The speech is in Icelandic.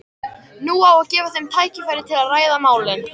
Nú á að gefa þeim tækifæri til að ræða málin.